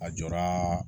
A jɔra